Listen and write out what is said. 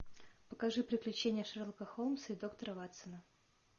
покажи приключения шерлока холмса и доктора ватсона